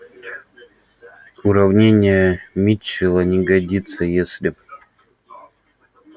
уравнение митчелла не годится если